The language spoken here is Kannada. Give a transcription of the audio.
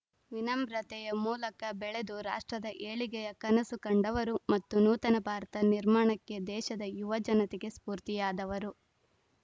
ವಿನಮ್ರತೆಯ ಮೂಲಕ ಬೆಳೆದು ರಾಷ್ಟ್ರದ ಏಳಿಗೆಯ ಕನಸು ಕಂಡವರು ಮತ್ತು ನೂತನ ಭಾರತ ನಿರ್ಮಾಣಕ್ಕೆ ದೇಶದ ಯುವ ಜನತೆಗೆ ಸ್ಫೂರ್ತಿಯಾದವರು